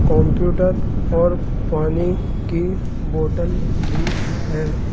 Computer और पानी की बॉटल भी है।